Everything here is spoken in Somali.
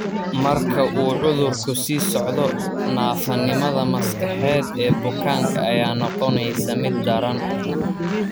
Marka uu cudurku sii socdo, naafanimada maskaxeed ee bukaanka ayaa noqonaysa mid daran.